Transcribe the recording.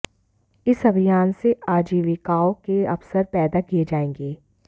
इस अभियान से आजीविकाओं के अवसर पैदा किए जाएंगे